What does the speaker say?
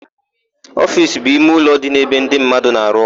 Ofiisi bụ ime ụlọ dị n'ebe ndị mmadụ na-arụ ọrụ.